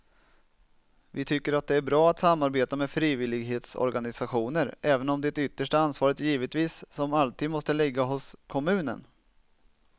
Vi tycker att det är bra att samarbeta med frivillighetsorganisationer även om det yttersta ansvaret givetvis som alltid måste ligga hos kommunen.